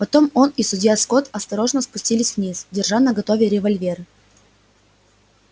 потом он и судья скотт осторожно спустились вниз держа наготове револьверы